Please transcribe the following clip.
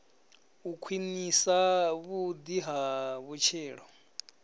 u khwinisa vhudi ha vhutshilo